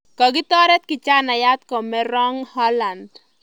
Kakitoret kijanaiyat kome rng Holland